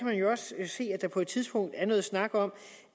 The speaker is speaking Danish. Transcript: man jo også se at der på et tidspunkt er noget snak om